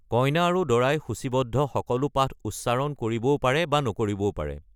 কইনা আৰু বৰে সূচীবদ্ধ সকলো পাঠ উচ্চাৰণ কৰিবও পাৰে বা নকৰিবও পাৰে।